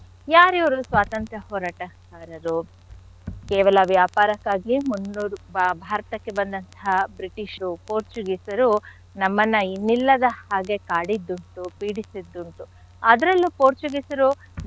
ಯಾರ್ ಇವ್ರು ಸ್ವಾತಂತ್ರ್ಯ ಹೋರಾಟಗಾರರು? ಕೇವಲ ವ್ಯಾಪಾರಕ್ಕಾಗಿಯೆ ಭಾರತಕ್ಕೆ ಬಂದಂಥಹ British ರು ಪೋರ್ಚುಗೀಸರು ನಮ್ಮನ್ನ ಇನ್ನಿಲ್ಲದ ಹಾಗೆ ಕಾಡಿದ್ದುಂಟು ಪೀಡಿಸಿದ್ದುಂಟು. ಅದ್ರಲ್ಲೂ ಪೋರ್ಚುಗೀಸರು,